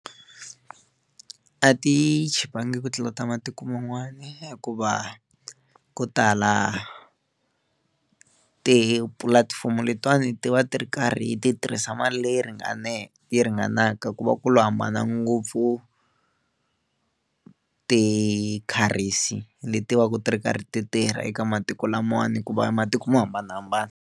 A ti chipangi ku tlula ta matiko man'wana hikuva ko tala tipulatifomo letiwani ti va ti ri karhi ti tirhisa mali leyi ringaneke yi ringanaka ku va ku lo hambana ngopfu ti-currency leti va ku ti ri karhi ti tirha eka matiko lamawani ku va matiko mo hambanahambana.